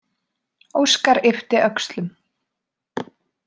Óskar yppti öxlum.